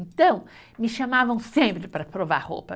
Então, me chamavam sempre para provar roupa.